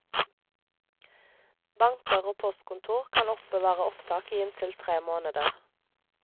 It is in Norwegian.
Banker og postkontor kan oppbevare opptak i inntil tre måneder.